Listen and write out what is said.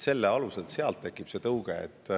Selle alusel tekib tõuge.